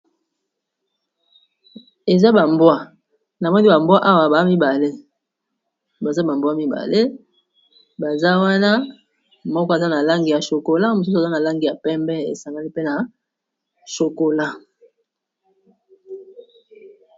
Na moni bambwa awa ba babaza ba mbwa mibale, baza wana moko aza na langi ya chokola mosusu aza na langi ya pembe, esangali pe na chokola